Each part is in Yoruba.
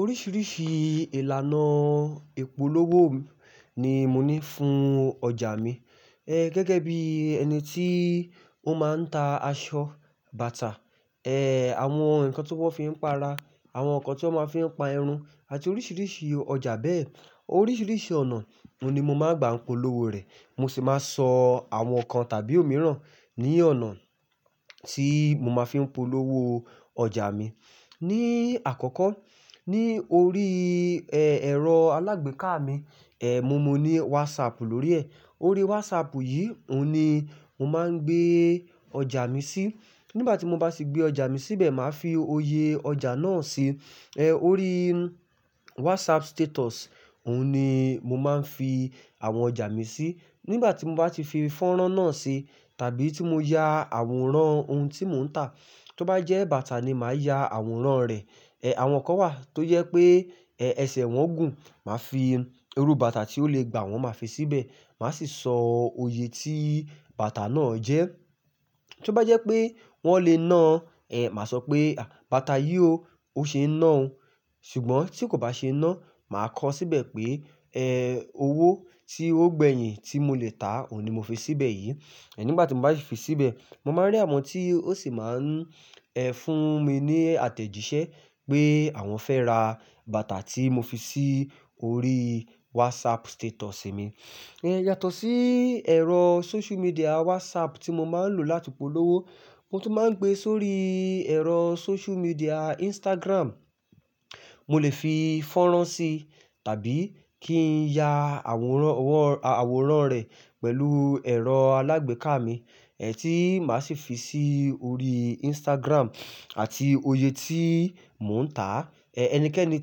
Oríṣiríṣi ìlànà ìpolówó ni mo ní fún ọjà mi. E gẹ́gẹ́ bí ẹni tí ó máa ń ta aṣọ, bàtà, e àwọn nǹkan tí wọ́n fi ń pa ara, àwọn nǹkan tí wọ́n máa fí ń pa irun àti oríṣiríṣi ọjà bẹ́ẹ̀. Oríṣiríṣi ọ̀nà oni mo máa ń gba polówó rẹ̀. Mo sì máa sọ àwọn nǹkan tàbí òmíràn ní ọ̀nà tí mo máa fi ń polówó ọjà mi. Ni àkọ́kọ́, ní orí e ẹ̀rọ alágbèéká mi, e mo mo ní WhatsApp lórí ẹ̀. Orí WhatsApp yìí oni mo máa ń gbé ọjà mi sí. Nígbà tí mo bá ti gbé ọjà mi síbẹ̀, màá fi òye ọjà náà ṣi. E orí WhatsApp status oni mo máa ń fi àwọn ọjà mi sí. Nígbà tí mo bá ti fi fọ́nrán náà ṣi, tàbí tí mo ya àwòrán ohun tí mò ń tà, tí ó bá jẹ́ bàtà ni màá ya àwòrán rẹ̀. E àwọn kan wà tó je pé ẹsẹ̀ wọn gùn. Màá fi irú bàtà tí ó le gbà wọ́n máa fi síbẹ̀. Màá sì sọ òye tí bàtà náà jẹ́. Tí ó bá jẹ́ pé wọ́n lè ná, e màá sọ pé, "Bàtà yìí ó, ó ṣeé ná ọ." Ṣùgbọ́n tí kò bá ṣe ná, màá kọọ́ síbẹ̀ pé, "E owó tí ó gbẹ́yìn tí mo lè tà ó ni mo fi síbẹ̀ yìí." Ẹ̀ nígbà tí mo bá fi síbẹ̀, mo máa rí àwọn tí ó sì máa ń, e fún mi ní àtẹ̀jíṣẹ́ pé àwọn fẹ́ ra bàtà tí mo fi sí orí WhatsApp status mi. E yàtọ̀ sí ẹ̀rọ social media WhatsApp tí mo máa ń lò láti polówó, mo tún máa ń gbé sórí ẹ̀rọ social media Instagram. Mo lè fi fọ́nrán sí tàbí kí n ya àwòrán, àwòrán rẹ̀ pẹ̀lú ẹ̀rọ alágbèéká mi, e tí màá sì fi sí orí Instagram àti òye tí mò ń tà. E ẹnikẹ́ni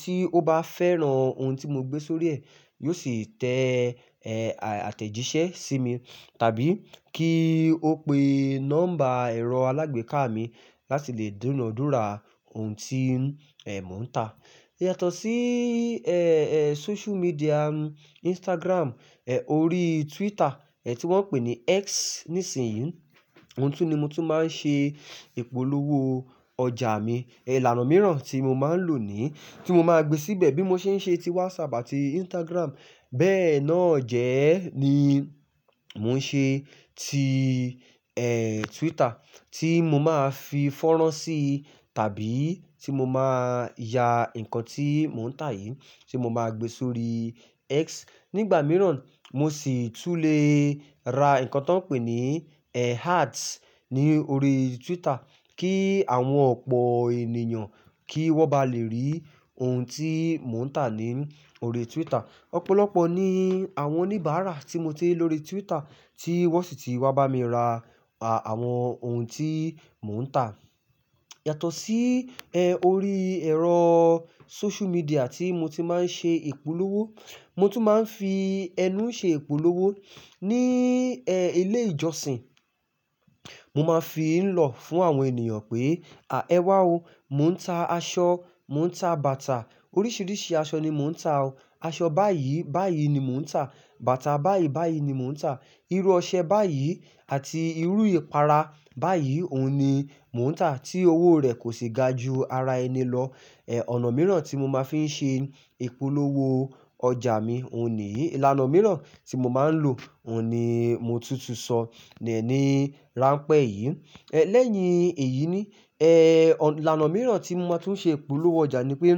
tí ó bá fẹ́ran ohun tí mo gbé sórí ẹ̀ yio sì tẹ e àtẹ̀jíṣẹ́ sí mi tàbí kí ó pe nọ́mbà ẹ̀rọ alágbèéká mi láti lè dúna dúra ohun tí e mò ń tà. Yàtọ̀ sí e, e social media Instagram, e orí Twitter, e tí wọ́n pè ní X nísìnyí, oun tún ni mo tún máa ń ṣe ìpolówó ọjà mi. Ìlànà mìíràn tí mo máa ń lò ní, tí mo máa gbé síbẹ̀ bí mo ṣe ń ṣe ti WhatsApp àti Instagram bẹ́ẹ̀ náà jẹ ẹ́ ni mò ń ṣe ti e Twitter, tí mo máa fi fọ́nrán sí tàbí tí mo máa ya nǹkan tí mò ń tà yìí tí mo máa gbé sórí X. Nígbà mìíràn, mo sì tún lè ra nǹkan tó pè ní e Ads ní orí Twitter kí àwọn ọ̀pọ̀ ènìyàn kí wọ́n bá lè rí ohun tí mò ń tà ní orí Twitter. Ọ̀pọ̀lọpọ̀ ní àwọn oníbàárà tí mo ti ri ni órí Twitter tí wọ́n sì ti wá bá mi ra àwọn ohun tí mò ń tà. Yàtọ̀ sí e orí ẹ̀rọ social media tí mo ti máa ń ṣe ìpolówó, mo tún máa ń fi ẹnu ṣe ìpolówó ní e ilé ìjọsìn. Mo máa ń fi í ń lọ fún àwọn ènìyàn pé, "À, ẹ wá o, mò ń ta aṣọ, mò ń ta bàtà. Oríṣiríṣi aṣọ ni mò ń ta o. Aṣọ báyìí báyìí ni mò ń tà, bàtà báyìí báyìí ni mò ń tà. Irú ọṣẹ báyìí àti irú ìpara báyìí òun ni mò ń tà tí owó rẹ̀ kò sì ga ju ara ẹni lọ." E ọ̀nà mìíràn tí mo máa ń fi ń ṣe ìpolówó ọjà mi òun nìyí. Ìlànà mìíràn tí mo máa ń lò òun ni mo tún tún sọ ni ránpẹ́ yìí. E lẹ́yìn èyí ni, e ìlànà mìíràn tí mo máa tún ṣe ìpolówó ọjà ni pé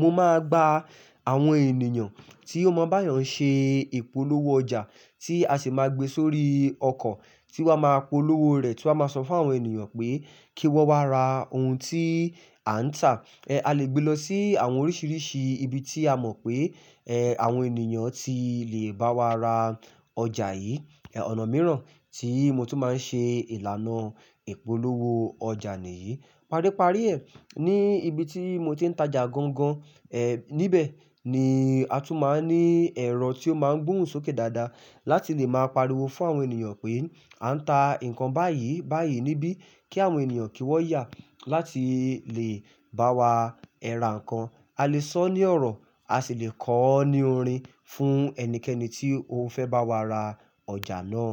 mo máa gba àwọn ènìyàn tí ó mọ̀ bá eeyàn ṣe ìpolówó ọjà tí a sì máa gbé sórí ọkọ̀ tí wọ́n a máa polówó rẹ̀ tí wọ́n a máa sọ fún àwọn ènìyàn pé kí wọ́n wá ra ohun tí à ń tà. E a lè gbé lọ sí àwọn oríṣiríṣi ibi tí a mọ̀ pé e àwọn ènìyàn ti lè bá wa ra ọjà yìí. E ọ̀nà mìíràn tí mo tún máa ń ṣe ìlànà ìpolówó ọjà nìyí. Paríparí ẹ̀, ní ibi tí mo ti ń tajà gan gan, e níbẹ̀ ni a tún máa ń ní ẹ̀rọ tí ó máa ń gbohun sókè dáadáa láti lè máa pariwo fún àwọn ènìyàn pé à ń ta nǹkan báyìí báyìí níbí kí àwọn ènìyàn kí wọ́n yà láti lè bá wa ẹ ra nǹkan. A lè sọ ní ọ̀rọ̀, a sì lè kọọ́ ní orin fún ẹnikẹ́ni tí ó fẹ́ bá wa ra ọjà náà.